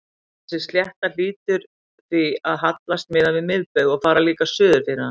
Þessi slétta hlýtur því að hallast miðað við miðbaug og fara líka suður fyrir hann.